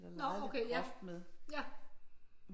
Eller leget lidt groft med